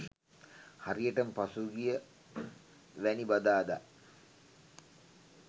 හරියටම පසුගියවැනි බදාදා